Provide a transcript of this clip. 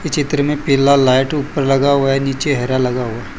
चित्र में पीला लाइट ऊपर लगा हुआ है नीचे हरा लगा हुआ है।